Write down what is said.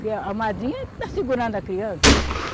Porque a, a madrinha está segurando a criança.